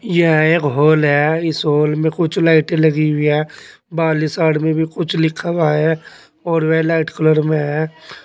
यह एक हॉल है इस हॉल में कुछ लाइटें लगी हुई है बाहरली साइड में भी कुछ लिखा हुआ है और वे लाइट कलर में है।